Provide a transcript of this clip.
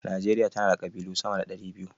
Najeriya tana da ƙabilu sama da 200.